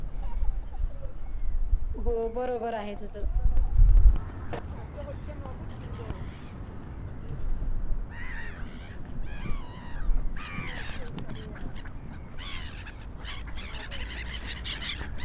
हो बरोबर आहे तसं.